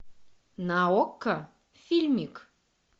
на окко фильмик